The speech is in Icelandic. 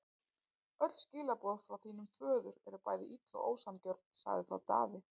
Öll skilaboð frá þínum föður eru bæði ill og ósanngjörn, sagði þá Daði.